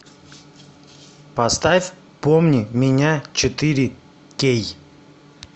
поставь помни меня четыре кей